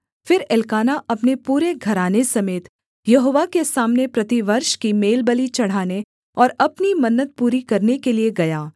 फिर एल्काना अपने पूरे घराने समेत यहोवा के सामने प्रतिवर्ष की मेलबलि चढ़ाने और अपनी मन्नत पूरी करने के लिये गया